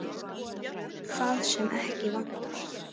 Það sem ekki virkar